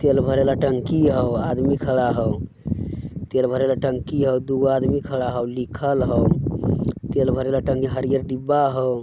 तेल भरे वला टंकी हो आदमी खड़ा हो तेल भरे वला टंकी हो दू गो आदमी खड़ा हो लिखल हो तेल भरे वला टंकी हरिहर डिब्बा हो।